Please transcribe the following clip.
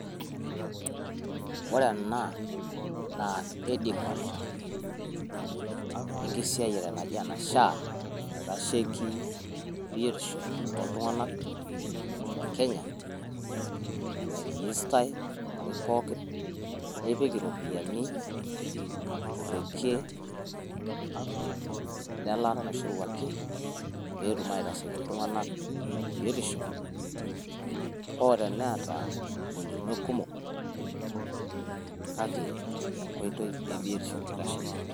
Ore ena naa headquarters enkisiayiare naji ene SHA naitasheki biotisho oo iltung`anak le Kenya. Nai register i olmarei pookin nipik irropiyiani to rrekie le laata naishoruaki pee etum aitasheki iltung`anak te biotisho. Hoo te neata ng`olikinot kumok kake enkoitoi e biotisho eitasheki.